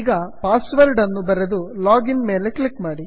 ಈಗ password ಅನ್ನು ಬರೆದು ಲಾಗಿನ್ ಮೇಲೆ ಕ್ಲಿಕ್ ಮಾಡಿ